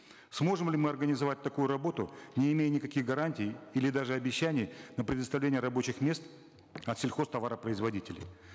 сможем ли мы организовать такую работу не имея никаких гарантий или даже обещаний на предоставление рабочих мест от сельхозтоваропроизводителей